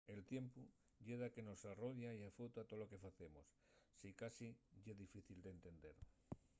el tiempu ye daqué que mos arrodia y afeuta tolo que facemos. sicasí ye difícil d’entender